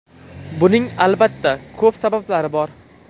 Buning, albatta, ko‘p sabablari bor.